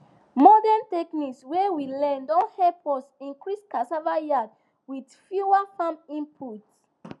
modern technique wey we learn don help us increase cassava yield with fewer farm inputs